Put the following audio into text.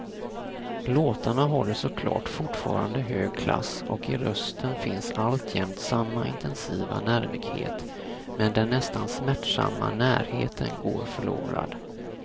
Låtarna håller såklart fortfarande hög klass och i rösten finns alltjämt samma intensiva nervighet, men den nästan smärtsamma närheten går förlorad.